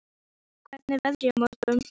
Freygarður, hvernig er veðrið á morgun?